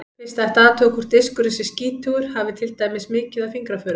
Fyrst ætti að athuga hvort diskurinn sé skítugur, hafi til dæmis mikið af fingraförum.